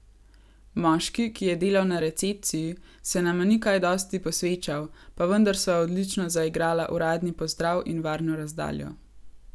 Moški, ki je delal na recepciji, se nama ni kaj dosti posvečal, pa vendar sva odlično zaigrala uradni pozdrav in varno razdaljo.